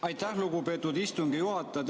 Aitäh, lugupeetud istungi juhataja!